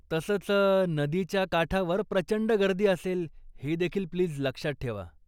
तसंच, नदीच्या काठावर प्रचंड गर्दी असेल हे देखील प्लीज लक्षात ठेवा.